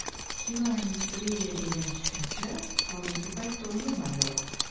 Kinoindustriya degan tushuncha hozirgi paytda umuman yo‘q.